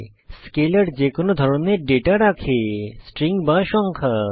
স্কেলের যেকোনো ধরনের ডেটা রাখে স্ট্রিং বা সংখ্যা